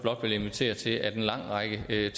er